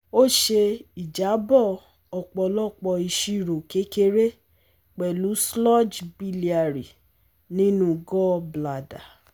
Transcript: Ó ṣe ìjábọ̀ ọ̀pọ̀lọpọ̀ ìṣirò kékeré pẹ̀lú sludge biliary nínú gallbladder